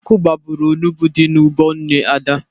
Ọkụ gbagburu onugbu dị n'ugbo nne Ada.